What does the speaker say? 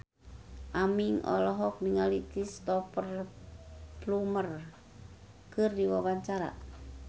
Aming olohok ningali Cristhoper Plumer keur diwawancara